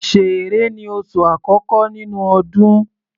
Ṣẹẹrẹ ni oṣù àkọ́kọ́ nínú ọdún.